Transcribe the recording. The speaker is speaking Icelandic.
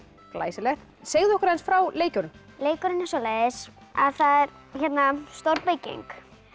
glæsilegt segðu okkur aðeins frá leikjunum leikurinn er svoleiðis að það er stór bygging